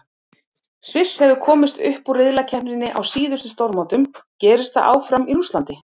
Sviss hefur komist upp úr riðlakeppninni á síðustu stórmótum, gerist það áfram í Rússlandi?